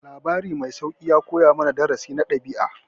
Labarin mai sauƙi ya koya mana darasi na ɗabi'a.